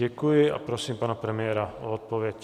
Děkuji a prosím pana premiéra o odpověď.